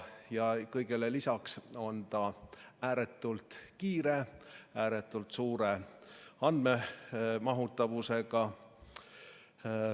Ja kõigele lisaks on see ääretult kiire, ääretult suure andmemahutavusega.